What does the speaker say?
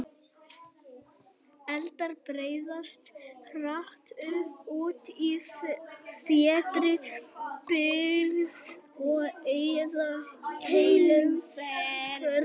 Eldar breiðast hratt út í þéttri byggð og eyða heilum hverfum.